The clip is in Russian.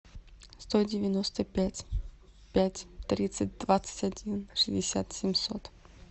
сто девяносто пять пять тридцать двадцать один шестьдесят семьсот